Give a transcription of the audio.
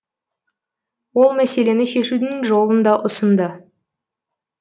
ол мәселені шешудің жолын да ұсынды